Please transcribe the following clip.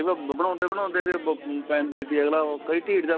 ਬਣਾਉਂਦੇ ਬਣਾਉਂਦੇ ਇਹਦੇ ਪੈਂਦੇ ਥੀ ਅਗਲਾ ਉਹ ਕਈ ਢੀਠ ਜਾ